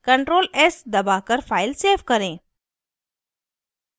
ctrl + s दबाकर file save करें